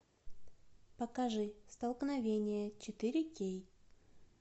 покажи столкновение четыре кей